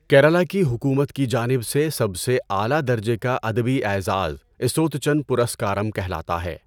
کیرلا کی حکومت کی جانب سے سب سے اعلیٰ درجے کا ادبی اعزاز ایژوتچن پرسکارم کہلاتا ہے